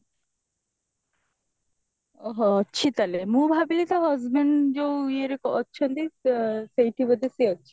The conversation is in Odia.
ଓଃହୋ ଅଛି ତାହେଲେ ମୁଁ ଭାବିଲି ତା husband ଯଉ ଇଏରେ ଅଛନ୍ତି ଆଁ ସେଇଠି ବୋଧେ ସିଏ ଅଛି